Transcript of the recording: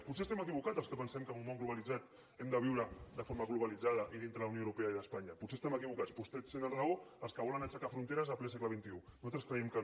potser estem equivocats els que pensem que en un món globalitzat hem de viure de forma globalitzada i dintre de la unió europea i d’espanya potser estem equivocats potser tenen raó els que volen aixecar fronteres en ple segle xxi nosaltres creiem que no